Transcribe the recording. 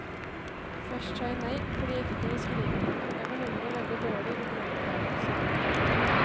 Først sa jeg nei fordi jeg ikke kunne skrive, jeg var nemlig veldig dårlig ortografisk.